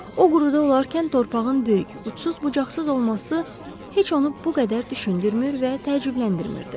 O quruda olarkən torpağın böyük, uçsuz-bucaqsız olması heç onu bu qədər düşündürmür və təəccübləndirmirdi.